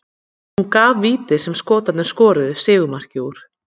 Hún gaf vítið sem Skotarnir skoruðu sigurmarkið úr.